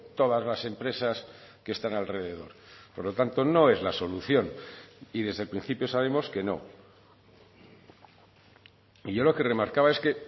todas las empresas que están alrededor por lo tanto no es la solución y desde el principio sabemos que no y yo lo que remarcaba es que